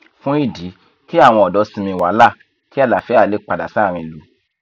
fún ìdí kí àwọn ọdọ sinmi wàhálà kí àlàáfíà lè padà sáárín ìlú